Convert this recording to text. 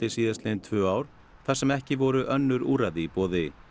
síðastliðin tvö ár þar sem ekki voru önnur úrræði í boði